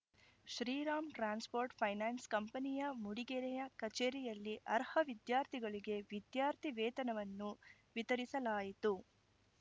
Shriram transport finance ಕಂಪನಿಯ ಮೂಡಿಗೆರೆಯ ಕಚೇರಿಯಲ್ಲಿ ಅರ್ಹ ವಿದ್ಯಾರ್ಥಿಗಳಿಗೆ ವಿದ್ಯಾರ್ಥಿ ವೇತನವನ್ನು ವಿತರಿಸಲಾಯಿತು